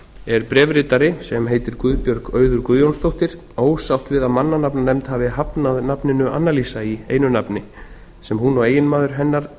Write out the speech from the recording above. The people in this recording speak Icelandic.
er bréfritari sem heitir guðbjörg auður guðjónsdóttir ósátt við að mannanafnanefnd hafi hafnað nafninu annalísa í einu nafni sem hún og eiginmaður hennar